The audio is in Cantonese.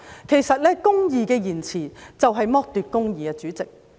其實，公義的延遲就是剝奪公義，主席。